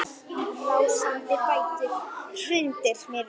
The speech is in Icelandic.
Hrindir mér á rúmið.